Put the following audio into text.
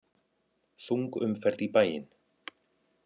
Þung umferð í bæinn